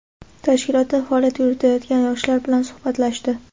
tashkilotda faoliyat yuritayotgan yoshlar bilan suhbatlashdi.